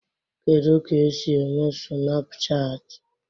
Kedụ ka-esi eme Sunapụchaatị?